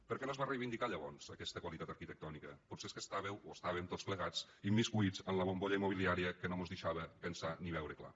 per què no es va reivindicar llavors aquesta qualitat arquitectònica potser és que estàveu o estàvem tots plegats immiscits en la bombolla immobiliària que no mos deixava pensar ni veure clar